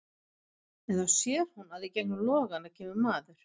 En þá sér hún að í gegnum logana kemur maður.